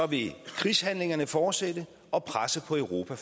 vil krigshandlingerne fortsætte og presset på europa